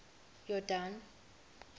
yordane